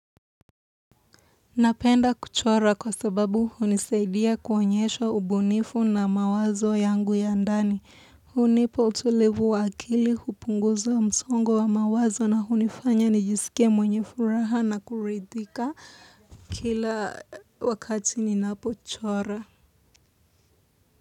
Napenda kuchora kwa sababu hunisaidia kuonyesha ubunifu na mawazo yangu ya ndani. Hunipa utulivu wa akili hupunguza msongo wa mawazo na hunifanya nijisikie mwenye furaha na kuridhika kila wakati ninapochora.